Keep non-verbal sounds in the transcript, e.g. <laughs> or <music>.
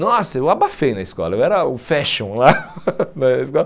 Nossa, eu abafei na escola, eu era o fashion lá <laughs> lá na escola.